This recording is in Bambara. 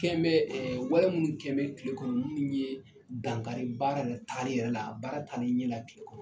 kɛn bɛ wali minnu kɛn bɛ kile kɔnɔ minnu ye dankari baara yɛrɛ tagali yɛrɛ la baara taara tagaliɲɛ la kile kɔnɔ.